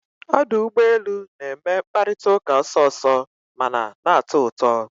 Ọdụ ụgbọ elu na-eme mkparịta ụka ọsọ ọsọ mana na-atọ ụtọ